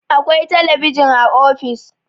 akwai talabijin a ofis